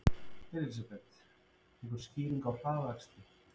Elísabet: Einhver skýring á hraðakstri?